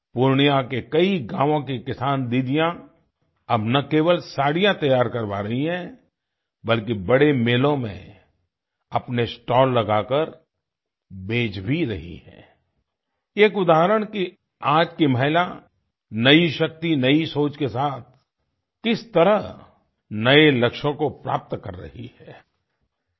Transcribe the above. पूर्णिया के कई गावोँ के किसान दीदीयाँ अब न केवल साड़ियाँ तैयार करवा रही हैं बल्कि बड़े मेलों में अपने स्टाल लगा कर बेच भी रही हैं आई एक उदाहरण कि आज की महिला नई शक्ति नई सोच के साथ किस तरह नए लक्ष्यों को प्राप्त कर रही हैं आई